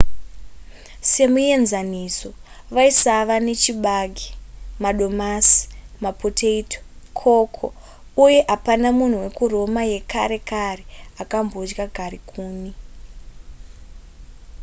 semuenzaniso vaisava nechibage madomasi mapotato cocoa uye hapana munhu wekuroma yekare kare akambodya garikuni